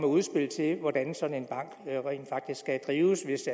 udspil til hvordan en sådan bank rent faktisk skal drives hvis